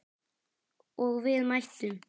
Og við mættum.